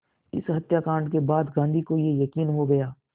इस हत्याकांड के बाद गांधी को ये यक़ीन हो गया